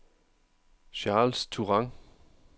Charles Turan